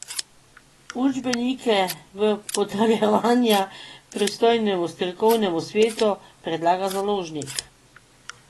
Učbenike v potrjevanje pristojnemu strokovnemu svetu predlaga založnik.